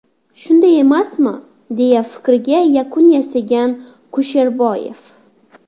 Shunday emasmi?” deya fikriga yakun yasagan Kusherboyev.